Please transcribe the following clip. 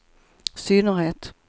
synnerhet